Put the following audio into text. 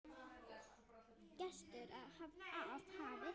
Gestur af hafi